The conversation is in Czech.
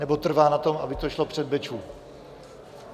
Nebo trvá na tom, aby to šlo před Bečvu?